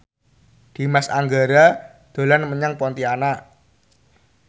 Dimas Anggara dolan menyang Pontianak